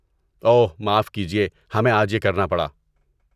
اوہ، معاف کیجیے ہمیں آج یہ کرنا پڑا۔